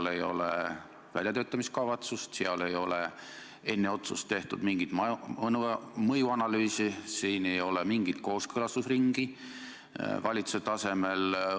Seal ei ole eelnõu väljatöötamiskavatsust, seal ei ole enne otsust tehtud mingit mõjuanalüüsi, ei ole olnud mingit kooskõlastusringi valitsuse tasemel.